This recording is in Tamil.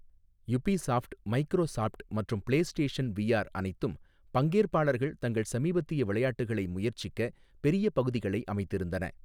யுபிசாஃப்ட், மைக்ரோசாப்ட் , மற்றும் பிளேஸ்டேஷன் விஆர் அனைத்தும் பங்கேற்பாளர்கள் தங்கள் சமீபத்திய விளையாட்டுகளை முயற்சிக்க பெரிய பகுதிகளை அமைத்திருந்தன.